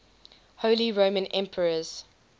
holy roman emperors